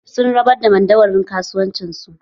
Sun rabar da madauwarin kasuwanci su